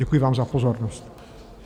Děkuji vám za pozornost.